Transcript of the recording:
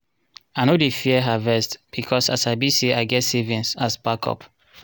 i no dey fear harvest becos i sabi say i get savings as backup.